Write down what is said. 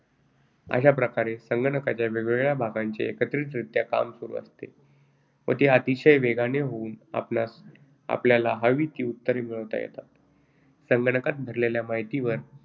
अशा प्रकारे संगणकाच्या वेगवेगळ्या भागांचे एकत्रितरित्या काम सुरू असते व ते अतिशय वेगाने होऊन आपणास आपल्याला हवी ती उत्तरे मिळवता येतात. संगणकात भरलेल्या माहितीवर